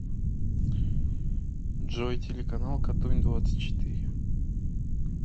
джой телеканал катунь двадцать четыре